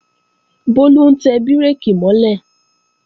Bólú ń tẹ bírèkì mọ́ lẹ̀